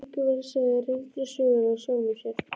Siggi var að segja reynslusögur af sjálfum sér.